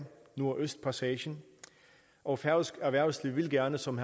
nordøstpassagen og færøsk erhvervsliv vil gerne som